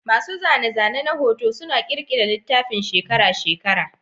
Masu zane-zane na hoto suna ƙirƙira littafin shekara-shekara.